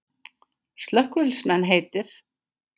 Slökkviliðsmenn heitir